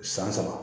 San saba